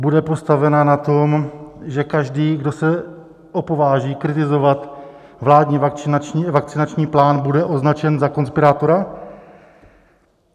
Bude postavena na tom, že každý, kdo se opováží kritizovat vládní vakcinační plán, bude označen za konspirátora?